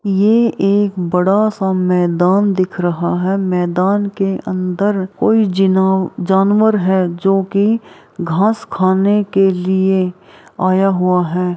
ये एक बड़ा-सा मैदान दिख रहा है मैदान के अंदर कोई जीना जानवर है जो की घास खाने के लिए आया हुआ है।